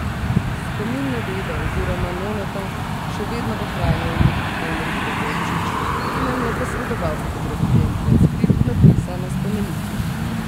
Spomin na deda oziroma nonota še vedno ohranja vnuk Henrik Gregorčič, ki nam je posredoval fotografije in transkript napisa na spomeniku.